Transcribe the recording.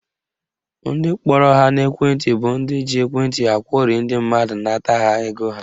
Ndị kpọrọ ha n'ekwenti bụ ndị ji ekwenti akwọrị ndị mmadụ nata ha ego ha